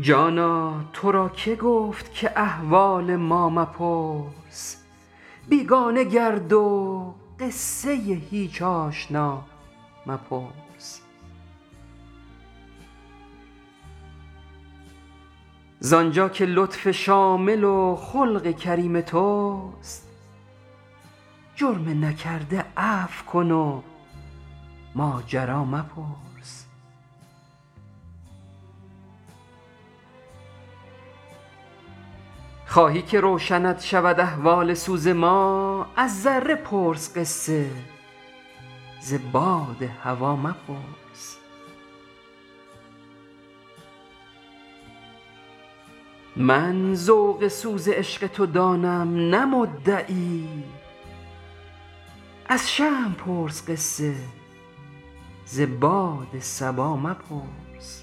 جانا تو را که گفت که احوال ما مپرس بیگانه گرد و قصه هیچ آشنا مپرس ز آنجا که لطف شامل و خلق کریم توست جرم نکرده عفو کن و ماجرا مپرس خواهی که روشنت شود اسرار درد عشق از شمع پرس قصه ز باد هوا مپرس من ذوق سوز عشق تو دانم نه مدعی آنکس که با تو گفت که درویش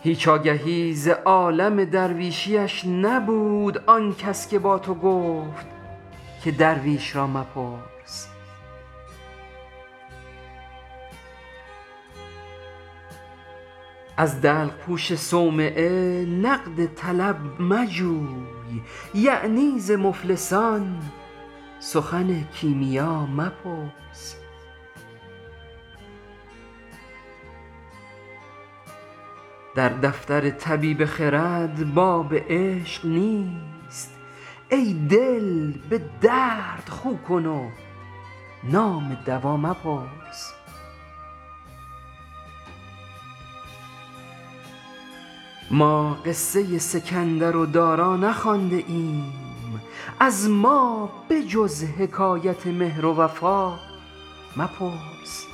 را مپرس هیچ آگهی ز عالم درویشیش نبود آن کس که با تو گفت که درویش را مپرس از دلق پوش صومعه نقد طلب مجوی یعنی ز مفلسان سخن کیمیا مپرس در دفتر طبیب خرد باب عشق نیست ای دل به درد خو کن و نام دوا مپرس ما قصه سکندر و دارا نخوانده ایم از ما به جز حکایت مهر و وفا مپرس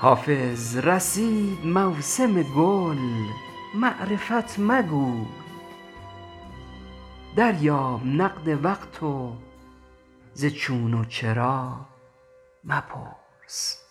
حافظ رسید موسم گل معرفت مگوی دریاب نقد وقت و ز چون و چرا مپرس